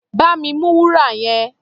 Bá mi mú wúrà yẹn!